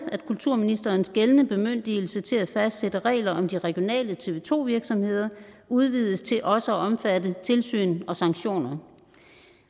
at kulturministerens gældende bemyndigelse til at fastsætte regler om de regionale tv to virksomheder udvides til også at omfatte tilsyn og sanktioner